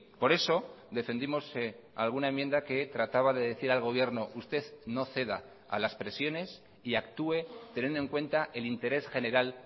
por eso defendimos alguna enmienda que trataba de decir al gobierno usted no ceda a las presiones y actúe teniendo en cuenta el interés general